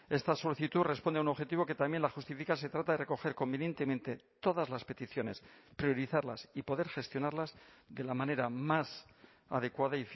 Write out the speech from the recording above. esta solicitud responde a un objetivo que también la justifica se trata de recoger convenientemente todas las peticiones priorizarlas y poder gestionarlas de la manera más adecuada